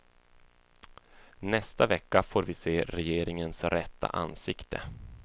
Nästa vecka får vi se regeringens rätta ansikte.